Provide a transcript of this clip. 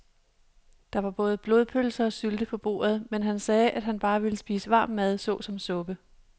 Der var både blodpølse og sylte på bordet, men han sagde, at han bare ville spise varm mad såsom suppe.